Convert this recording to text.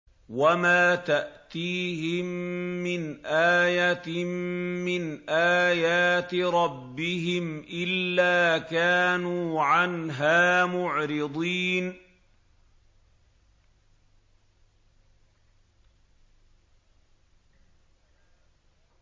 وَمَا تَأْتِيهِم مِّنْ آيَةٍ مِّنْ آيَاتِ رَبِّهِمْ إِلَّا كَانُوا عَنْهَا مُعْرِضِينَ